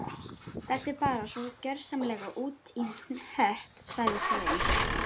Þetta er bara svo gjörsamlega út í hött sagði Svein